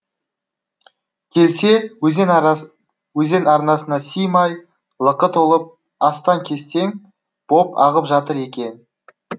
келсе өзен арнасына сыймай лықы толып астаң кестең боп ағып жатыр екен